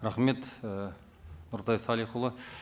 рахмет і нұртай салихұлы